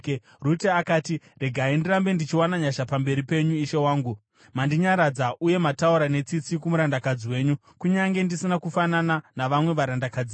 Rute akati, “Regai ndirambe ndichiwana nyasha pamberi penyu, ishe wangu. Mandinyaradza uye mataura netsitsi kumurandakadzi wenyu kunyange ndisina kufanana navamwe varandakadzi venyu.”